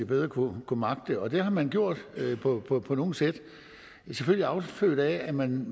bedre kunne magte det det har man gjort på på nogle sæt selvfølgelig affødt af at man